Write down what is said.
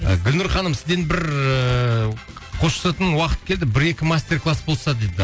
гүлнұр ханым сізден бір ыыы қоштасатын уақыт келді бір екі мастер класс болса дейді